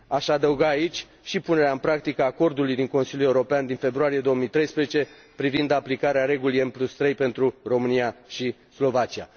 Aș adăuga aici și punerea în practică a Acordului din Consiliul European din februarie 2013, privind aplicarea regulii M3 pentru România și Slovacia.